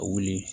Ka wuli